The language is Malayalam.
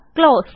ക്ലോസ്